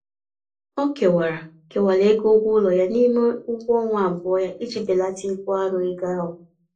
Ọ kewara kewara ego ụgwọụlọ ya n'ime ụgwọọnwa abụọ ya iji belata ibu arọ ego ahụ.